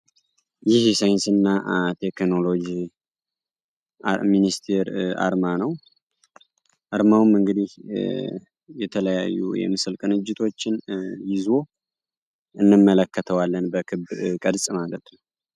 ይህ የሳይንስ እና ቴክኖሎጂ ሚኒስተር አርማ ነው። አርማውም እንግዲህ የተለያዩ የምስል ቅንጅቶችን ይዞ እንመለከተዋለን በክብ ቅርፅ ማለት ነው።